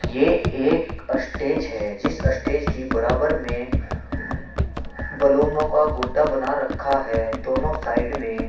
ये एक अस्टेज है जिस अस्टेज के बराबर में बलूनो का गुड्डा बना रखा है दोनों साइड में--